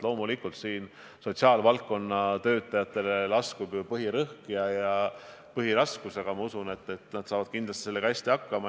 Loomulikult langeb sotsiaalvaldkonna töötajatele põhiraskus, aga ma usun, et nad saavad kindlasti hästi hakkama.